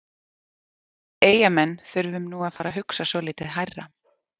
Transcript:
Við Eyjamenn þurfum nú að fara að hugsa svolítið hærra.